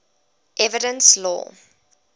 evidence law